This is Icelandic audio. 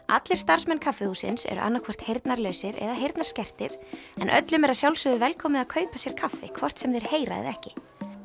allir starfsmenn kaffihússins eru annaðhvort heyrnarlausir eða heyrnarskertir en öllum er að sjálfsögðu velkomið að kaupa sér kaffi hvort sem þeir heyra eða ekki